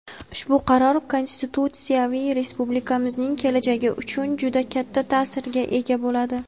Ushbu qaror konstitutsiyaviy respublikamizning kelajagi uchun juda katta ta’sirga ega bo‘ladi.